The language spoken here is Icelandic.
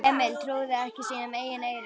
Emil trúði ekki sínum eigin eyrum.